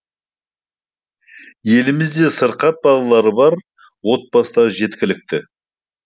елімізде сырқат балалары бар отбасылар жеткілікті